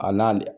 A n'ale